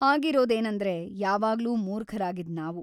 ಆಗಿರೋದೇನಂದ್ರೆ, ಯಾವಾಗ್ಲೂ ಮೂರ್ಖರಾಗಿದ್ದ್‌ ನಾವು.